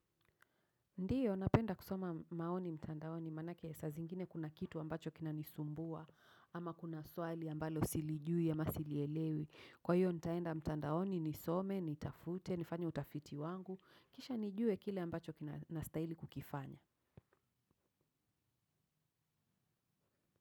Ndiyo, napenda kusoma maoni mtandaoni, maanake saazingine kuna kitu ambacho kina nisumbua, ama kuna swali ambalo silijui, ama silielewi. Kwa hiyo, nitaenda mtandaoni, nisome, nitafute, nifanye utafiti wangu, kisha nijue kile ambacho kina stahili kukifanya.